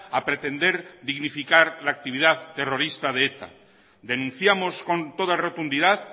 a pretender dignificar la actividad terrorista de eta denunciamos con toda rotundidad